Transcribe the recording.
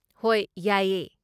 ꯍꯣꯏ ꯌꯥꯏꯌꯦ꯫